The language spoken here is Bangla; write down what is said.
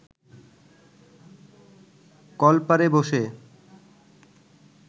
কলপারে বসে